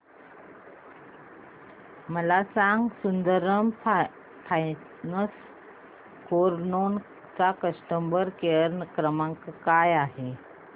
मला हे सांग सुंदरम फायनान्स कार लोन चा कस्टमर केअर क्रमांक काय आहे